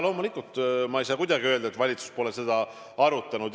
Loomulikult ma ei saa kuidagi öelda, et valitsus pole seda arutanud.